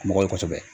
Mɔgɔ ye kosɛbɛ